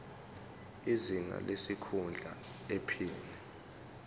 izinga lesikhundla iphini